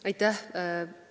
Aitäh!